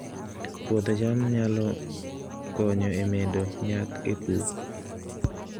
Puodho cham nyalo konyo e medo nyak e pur